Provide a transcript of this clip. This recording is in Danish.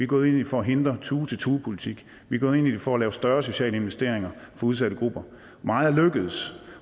gået ind i det for at hindre tue til tue politik vi gået ind i det for at lave større sociale investeringer for udsatte grupper meget er lykkedes